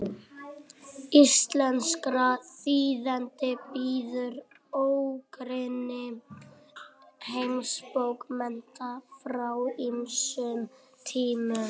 íslenskra þýðenda bíður ógrynni heimsbókmennta frá ýmsum tímum